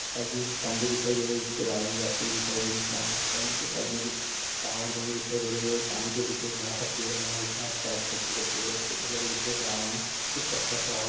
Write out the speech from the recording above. side में कुछ खम्भे दिखाई दे रहे है जिससे वायरिंग जाती हुई दिखाई दे रही है सा ऊपर उनके साइड में कुछ टावर बने दिखाई दे रहे है और पानी के पीछे एक बड़ा सा पेड़ बना दिख रहा है उसके आइड साइड छोटे पेड़ पौधे लगे हुए दिख रहे है ग्राउंड में कुछ कचरा पड़ा हुआ--